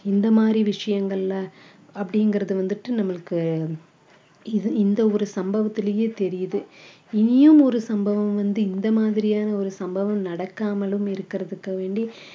இந்த மாதிரி விஷயங்கள்ல அப்படிங்கறது வந்துட்டு நம்மளுக்கு இது இந்த ஒரு சம்பவத்திலேயே தெரியுது இனியும் ஒரு சம்பவம் வந்து இந்த மாதிரியான ஒரு சம்பவம் நடக்காமலும் இருக்கிறதுக்கு வேண்டி